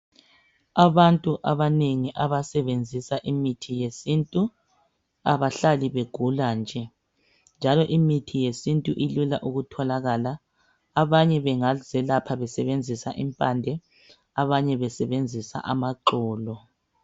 Abantu abanengi abasebenzisa imithi yesintu, kabahlali begula nje. Njalo imithi yesintu ilula ukutholakala. Abanye bangazelapha besebenzisa impande. Abanye besebenzisa amaxolo.